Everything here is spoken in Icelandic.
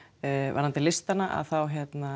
varðandi listana þá